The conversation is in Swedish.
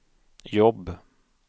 jobb